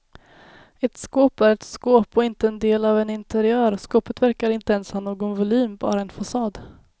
Ett skåp är ett skåp och inte en del av en interiör, skåpet verkar inte ens ha någon volym bara en fasad.